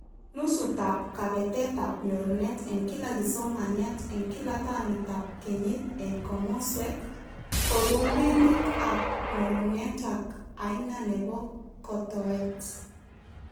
Nusutab kabetetab ngorunet eng kila kisomaniat eng kila tamitab kenyit eng komoswek, kurubinik ab nyorunet, ak aina nebokotoet